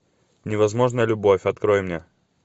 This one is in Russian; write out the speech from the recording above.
невозможная любовь открой мне